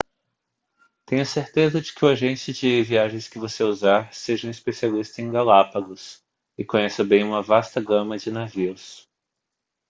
tenha a certeza de que o agente de viagens que você usar seja um especialista em galápagos e conheça bem uma vasta gama de navios